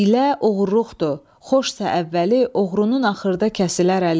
Hiylə oğruluqdur, xoşsa əvvəli, oğrunun axırda kəsilər əli.